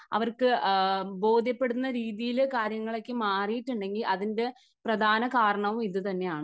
അവർക്ക് ബോധ്യപ്പെടുന്ന രീതിയിലേയ്ക്ക് കാര്യങ്ങൾ മാറിയിട്ടുണ്ടെങ്കിൽ അതിൻറെ പ്രധാന കാരണവും ഇതുതന്നെയാണ്.